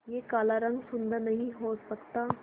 क्या काला रंग सुंदर नहीं हो सकता